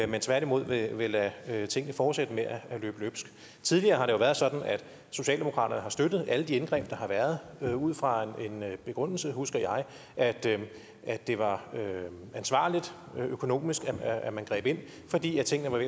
men tværtimod vil lade tingene fortsætte med at løbe løbsk tidligere har det jo været sådan at socialdemokratiet har støttet alle de indgreb der har været ud fra den begrundelse husker jeg at det var ansvarligt økonomisk at man greb ind fordi tingene var